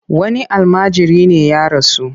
Wani almajiri ne ya rasu.